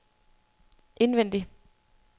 indvendig